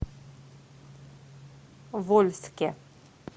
вольске